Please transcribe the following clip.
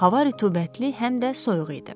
Hava rütubətli həm də soyuq idi.